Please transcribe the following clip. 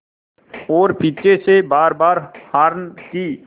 और पीछे से बारबार हार्न की